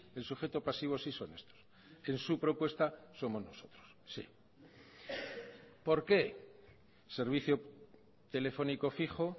el sujeto pasivo sí son estos en su propuestas somos nosotros sí por qué servicio telefónico fijo